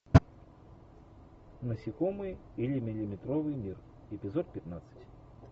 насекомые или миллиметровый мир эпизод пятнадцать